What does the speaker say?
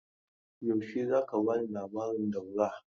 Yaushe za ka ba ni labarin Daura?